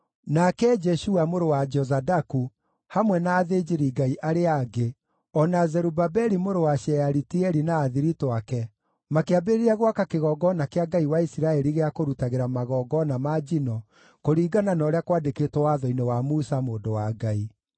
Nake Jeshua mũrũ wa Jozadaku hamwe na athĩnjĩri-Ngai arĩa angĩ, o na Zerubabeli mũrũ wa Shealitieli na athiritũ ake makĩambĩrĩria gwaka kĩgongona kĩa Ngai wa Isiraeli gĩa kũrutagĩra magongona ma njino kũringana na ũrĩa kwandĩkĩtwo Watho-inĩ wa Musa mũndũ wa Ngai.